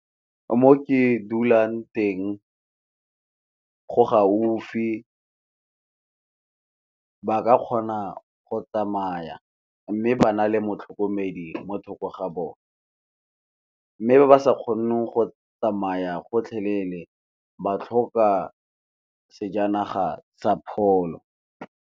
Mo ke dulang teng go gaufi, ba ka kgona go tsamaya mme ba na le motlhokomedi mo thoko ga bone. Mme ba sa kgoneng go tsamaya gotlhelele ba tlhoka sejanaga sa pholo.